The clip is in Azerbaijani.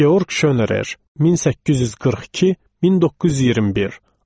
Georg Şonerer, 1842-1921.